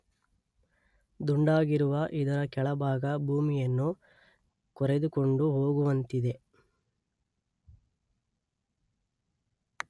ದುಂಡಾಗಿರುವ ಇದರ ಕೆಳಭಾಗ ಭೂಮಿಯನ್ನು ಕೊರೆದುಕೊಂಡು ಹೋಗುವಂತಿದೆ